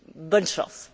Bonne chance!